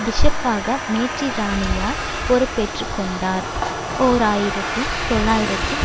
பிஷப்பாக மேற்றிராணியார் பொறுப்பேற்று கொண்டார் ஓர் ஆயிரத்தி தொள்ளாயிரத்தி